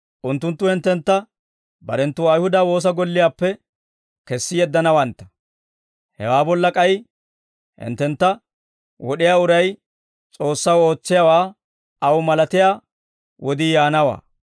Unttunttu hinttentta barenttu Ayihuda woosa golliyaappe kessi yeddanawantta. Hewaa bolla k'ay hinttentta wod'iyaa uray S'oossaw ootsiyaawaa aw malatiyaa wodii yaanawaa.